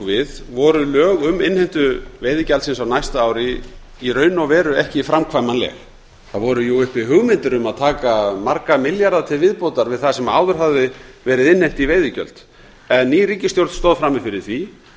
við voru lög um innheimtu veiðigjaldsins á næsta ári í raun og veru ekki framkvæmanleg það voru uppi hugmyndir um að taka marga milljarða til viðbótar við það sem áður hafði verið innheimt í veiðigjöld en ný ríkisstjórn stóð frammi fyrir því